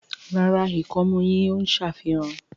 ràrá ikọmu yín o ṣàfihàn.